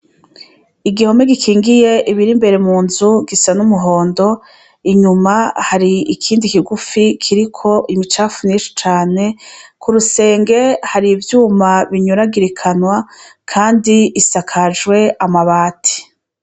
Igihome gikingiye ibiri imbere munzu gisa n’umuhondo, inyuma hari ikindi kigufi kiriko imicafu myinshi cane kurusenge harimwo ivyuma binyuragirikana kandi isakajwe amabati.